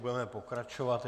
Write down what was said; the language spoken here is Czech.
Budeme pokračovat.